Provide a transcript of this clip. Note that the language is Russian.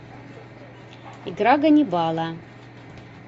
игра ганнибала